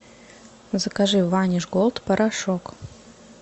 закажи ваниш голд порошок